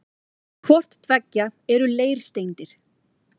Hvort tveggja eru leirsteindir.